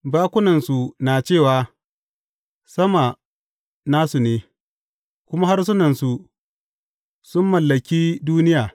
Bakunansu na cewa sama na su ne, kuma harsunansu sun mallaki duniya.